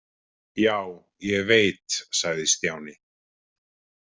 Já, ég veit sagði Stjáni.